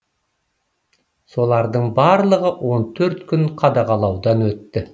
солардың барлығы он төрт күн қадағалаудан өтті